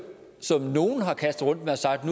som nogle har kastet rundt med og sagt